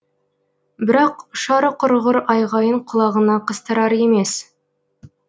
бірақ ұшары құрғыр айғайын құлағына қыстырар емес